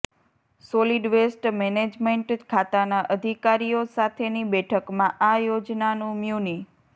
solid waste management ખાતાના અધિકારીઓ સાથેની બેઠકમાં આ યોજનાનું મ્યુનિ